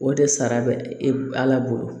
O de sara bɛ e ala bolo